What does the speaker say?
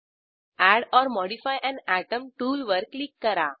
add or modify an atom टूलवर क्लिक करा